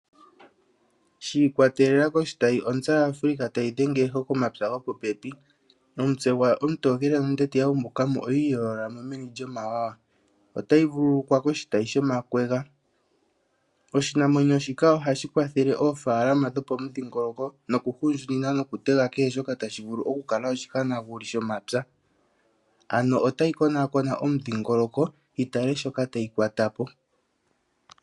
Shi ikwatelela koshitayi ontsa yaAfrica tayi dhenge eho komapya gopopepi. Omutse gwawo omutokele nondete yu umbuka mo oyi iyoolola mo meni lyomawawa. Otayi vululukwa koshitayi shomakwega. Oshinamwenyo shika ohashi kwathele oofaalama dhopomudhingoloko nokuhundjunina nokutega kehe shoka tashi vulu okukala oshihanaguli shomapya. Ano otayi konakona omudhingoloko yi tale shoka tayi kwata po.